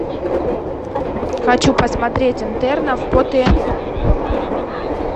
хочу посмотреть интернов по тнт